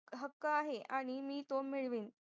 हक्क आहे आणि मी तो मिळवेन